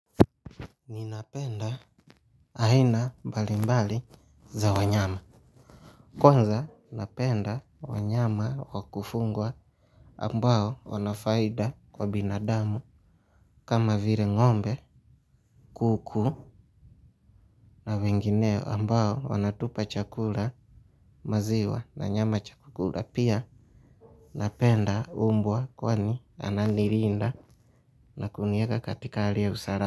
Ninapenda aina mbalimbali za wanyama. Kwanza napenda wanyama wakufungwa ambao wana faida kwa binadamu kama vile ng'ombe, kuku na wengineo ambao wanatupa chakula maziwa na nyama chakula. Pia napenda umbwa kwani ananirinda na kunieka katikali ya usalama.